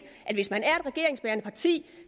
at hvis man er et regeringsbærende parti